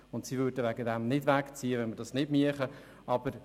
Letztere würden nicht wegziehen, wenn die Vorlage nicht umgesetzt würde.